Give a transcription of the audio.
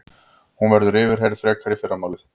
Hún verður yfirheyrð frekar í fyrramálið